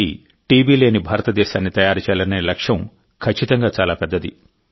2025 నాటికి టీబీ లేని భారతదేశాన్ని తయారు చేయాలనే లక్ష్యం ఖచ్చితంగా చాలా పెద్దది